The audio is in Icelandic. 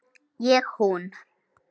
Ég hún.